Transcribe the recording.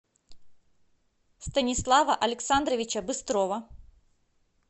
станислава александровича быстрова